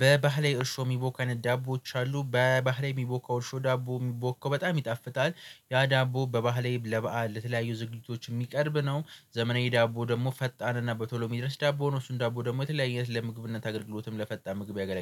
በባህላዊ እርሾ የሚቦካ አይነት ዳቦዎች አሉ በባህላዊ የሚቦካው እርሾ ዳቦ የሚቦካው በጣም ይጣፍጣል። ያ ዳቦ በባህላዊ ለበአል ለተለያዩ ዝግጅቶች የሚቀርብ ነው። ዘመናዊ ዳቦ ደግሞ ፈጣን እና በቶሎ የሚደረስ ዳቦ ነው እሱን ዳቦ ደግሞ የተለያየ አይነት ለምግብነት አገልግሎትም ለፈጣን ምግብ ያገለግል